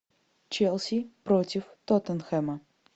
челси против тоттенхэма